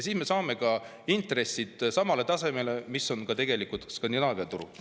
Siis me saame intressid samale tasemele, nagu on Skandinaavia turul.